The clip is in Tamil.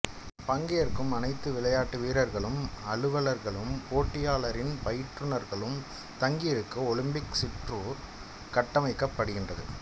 பங்கேற்கும் அனைத்து விளையாட்டு வீரர்களும் அலுவலர்களும் போட்டியாளர்களின் பயிற்றுநர்களும் தங்கியிருக்க ஒலிம்பிக் சிற்றூர் கட்டமைக்கப்படுகின்றது